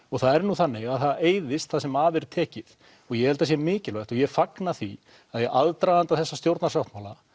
og það er nú þannig að það eyðist það sem af er tekið og ég held það sé mikilvægt og ég fagna því að í aðdraganda þessa stjórnarsáttmála